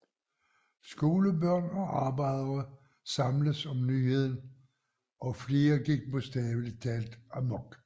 Skolebørn og arbejdere samledes om nyheden og flere gik bogstavelig talt amok